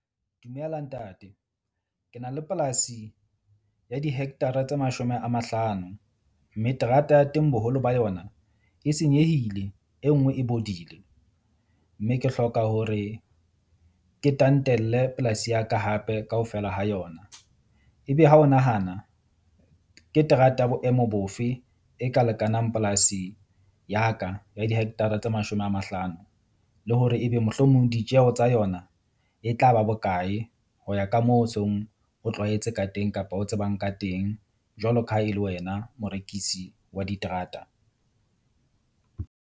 Dumela ntate, ke na le polasi ya dihectara tse mashome a mahlano. Mme terata ya teng boholo ba yona e senyehile. E nngwe e bodile mme ke hloka hore ke tantelle polasi ya ka hape kaofela ha yona. Ebe ha o nahana ke terata ya boemo bofe e ka lekanang polasi ya ka ya dihectara tse mashome a mahlano? Le hore ebe mohlomong ditjeho tsa yona e tla ba bokae ho ya ka moo ho seng o tlwaetse ka teng kapa o tsebang ka teng? Jwalo ka ha e le wena morekisi wa diterata.